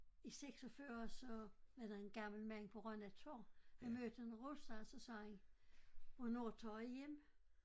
I 46 så er der en gammel mand på Rønne Torv han mødte en russer og så sagde han hvornår tager i hjem?